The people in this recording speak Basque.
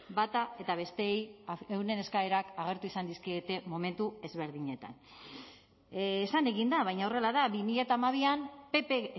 bata eta besteei euren eskaerak agertu izan dizkiete momentu ezberdinetan esan egin da baina horrela da bi mila hamabian pp